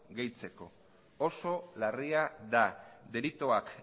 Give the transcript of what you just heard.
gehitzeko oso larria da delituak